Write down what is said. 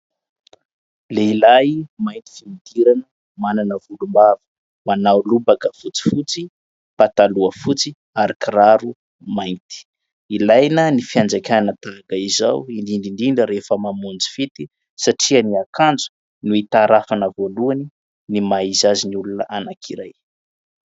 Lehilahy mainty fiodirana manana volom-bava, manao lobaka fotsifotsy, pataloha fotsy ary kiraro mainty, ilaina ny fianjaikana tahaka izao indindra indrindra rehefa mamonjy fety satria ny akanjo no hitarafana voalohany ny maha izy azy ny olona anankiray.